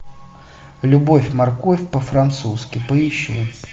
любовь морковь по французки поищи